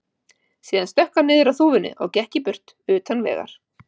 Síðan stökk hann niður af þúfunni og gekk í burtu, utan vegar.